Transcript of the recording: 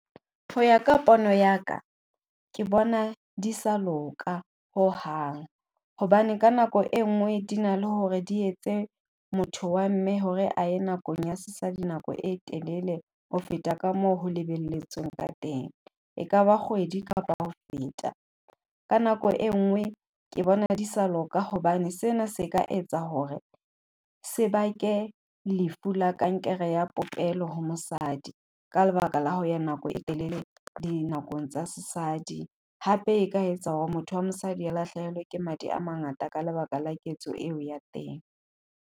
Hoya ka pono ya ka, ke bona di sa loka hohang hobane ka nako e nngwe di na le hore di etse motho wa mme hore a ye nakong ya sesadi nako e telele ho feta ka moo ho lebelletsweng ka teng, ekaba kgwedi kapa ho feta. Ka nako e nngwe ke bona di sa loka hobane sena se ka etsa hore, se bake lefu la kankere ya popelo ho mosadi ka lebaka la ho ya nako e telele dinakong tsa sesadi. Hape e ka etsa hore motho wa mosadi e lahlehelwe ke madi a mangata ka lebaka la ketso eo ya teng.